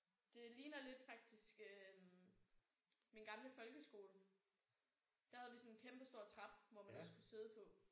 Det ligner lidt faktisk øh min gamle folkeskole. Der havde sådan en kæmpestor trappe hvor man også kunne sidde på